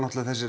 þegar